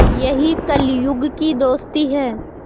यही कलियुग की दोस्ती है